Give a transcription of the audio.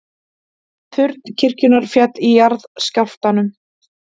Turn kirkjunnar féll í jarðskjálftanum